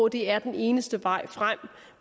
det er den eneste vej frem